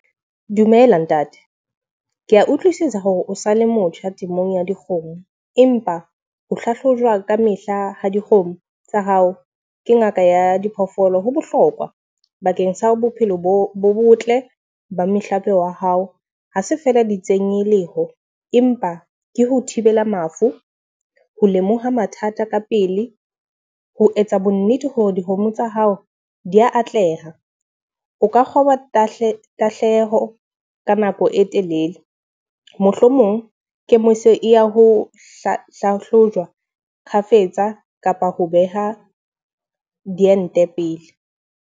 Dumela ntate, ke a utlwisisa hore o sa le motjha temong ya dikgomo. Empa ho hlahlojwa ka mehla ha dikgomo tsa hao ke ngaka ya diphoofolo ho bohlokwa bakeng sa bophelo bo bo botle ba mehlape wa hao. Ha se feela di tsenyeleho, empa ke ho thibela mafu, ho lemoha mathata ka pele, ho etsa bo nnete hore dikgomo tsa hao di a atleha. O ka kgoba tahleho nako e telele. Mohlomong kemiso ya ho hlahlojwa kgafetsa kapa ho beha diente pele.